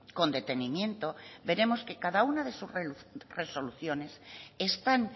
con detenimiento veremos que cada una de sus resoluciones están